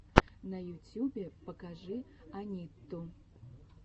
на ютьюбе покажи анитту